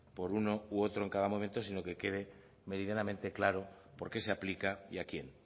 por uno u otro en cada momento sino que quede meridianamente claro por qué se aplica y a quién